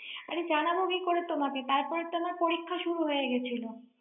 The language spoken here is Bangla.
আরে জানাবো কি করে তোমাকে, তারপরে তো আমার পরীক্ষা শুরু হয়েছিল।